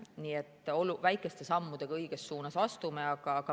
Nii et astume väikeste sammudega õiges suunas.